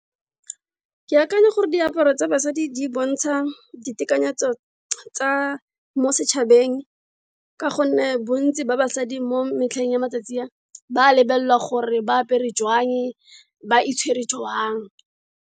Ke akanya gore diaparo tsa basadi di bontsha ditekanyetso tsa mo setshabeng, ka go nne bontsi ba basadi mo metlheng ya matsatsi a, ba lebelelwa gore ba apere jwang ba itshware jwang.